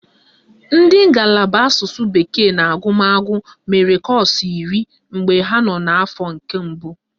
Ndị ngalaba asụsụ bekee na agụmagụ mere kọ́ọ̀sụ̀ iri mgbe ha nọ n'afọ nke mbụ